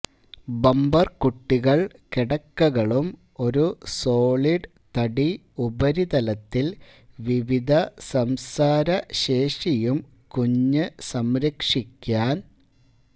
bumper കുട്ടികൾ കിടക്കകളും ഒരു സോളിഡ് തടി ഉപരിതലത്തിൽ വിവിധ സംസാരശേഷിയും കുഞ്ഞ് സംരക്ഷിക്കാൻ